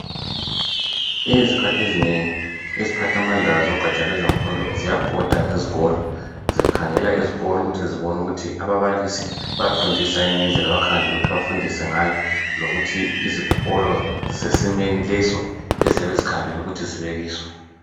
izikhathi ezinengi iziphathamandla lwezegatsha lwemfundo zibhoda ngezikolo zikhangela izikolo ukuthi zibone ukuthi ababalisi bayafundisayini ngendlela abakhangelele ukuthi bafundise ngayo lokuthi izikolo zisesimweni leso abakhangelelwe ukuthi zibe kiso